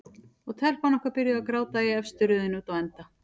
Og telpan okkar byrjuð að gráta í efstu röðinni úti á enda.